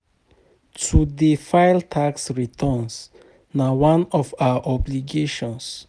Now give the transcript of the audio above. To dey file tax returns na one of our obligations.